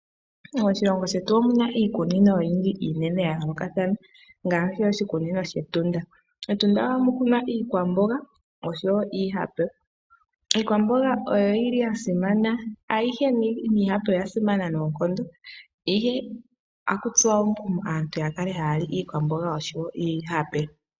Moshilongo shetu omu na iikunino oyindji iinene ya yoolokathana ngaashi oshikunino shEtunda. MEtunda oha mu kunwa iikwamboga oshowo iihape. Iikwamboga oyo oyili yasimana ayihe niihape oya simana noonkondo ihe ota ku tsuwa omukumo aantu ya kale ha yali iikwamboga oshowo iihape.